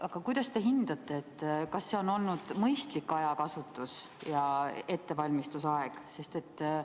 Aga kuidas te hindate: kas see on olnud mõistlik ajakasutus ja ettevalmistusaeg?